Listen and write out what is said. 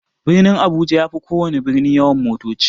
Birnin abuja yafi kowana birni yawan motoci.